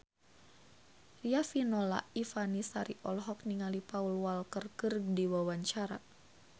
Riafinola Ifani Sari olohok ningali Paul Walker keur diwawancara